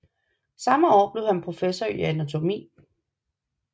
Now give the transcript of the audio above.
Samme år blev han professor i anatomi